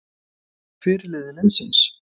Hver er fyrirliði liðsins?